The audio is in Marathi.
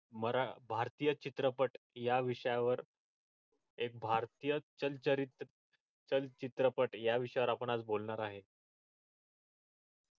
मराठी भारतीय चित्रपट या विषयावर एक भारतीय चरित्र तर चित्रपट या विषयावर आपण आज बोलणार आहे